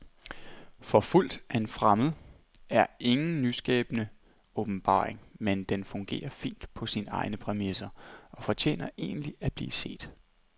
Forfulgt af en fremmed er ingen nyskabende åbenbaring, men den fungerer fint på sine egne præmisser og fortjener egentlig at blive set.